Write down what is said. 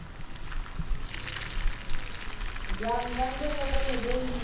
danga ngeno vhone vho ima